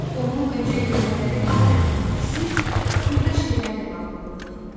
Onun öncə görmələri adətən bəsit, xırda şeylərlə bağlı olurdu.